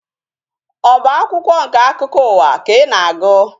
Ọ bụ akwụkwọ nke akụkọ ụwa ka ị na-agụ?